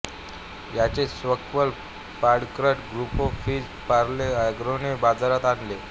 याचेच sequel product ग्रुपो Fizz Parle एग्रोने बाजारात आणले